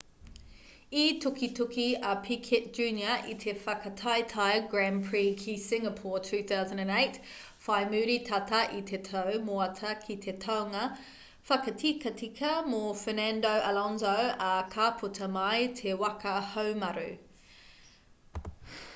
i tukituki a piquet jr i te whakataetae grand prix ki singapore 2008 whai muri tata i te tau moata ki te taunga whakatikatika mō fernando alonso ā ka puta mai te waka haumaru